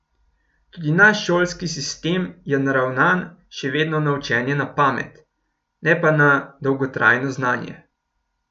Tudi naš šolski sistem je naravnan še vedno na učenje na pamet, ne pa na dolgotrajno znanje.